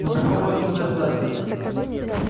но попробовать нужно обязательно